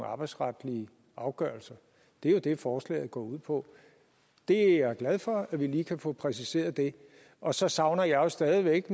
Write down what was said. arbejdsretlige afgørelser det er jo det forslaget går ud på det er jeg glad for at vi lige kan få præciseret og så savner jeg jo stadig væk